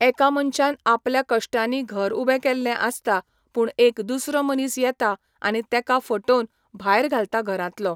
एका मनशान आपल्या कश्टांनी घर उबें केल्ले आसता पूण एक दुसरो मनीस येता आनी तेका फटोवन भायर घालता घरांतलो